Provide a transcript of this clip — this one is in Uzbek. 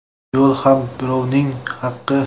Yo‘l ham birovning haqi.